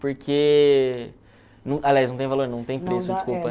Porque... Aliás, não tem valor, não tem preço, desculpa.